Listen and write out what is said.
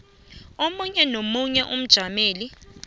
omunye nomunye umjameli